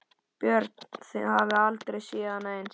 Björn: Þið hafið aldrei séð annað eins?